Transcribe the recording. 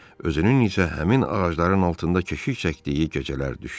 özünün isə həmin ağacların altında keşik çəkdiyi gecələr düşdü.